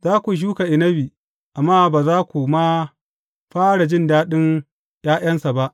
Za ku shuka inabi, amma ba za ku ma fara jin daɗin ’ya’yansa ba.